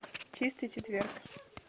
чистый четверг